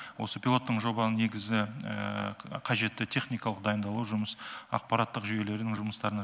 осы пилоттын жобаның негізі қажетті техникалық дайындалу жүмыс ақпараттық жүйелері жұмыстарының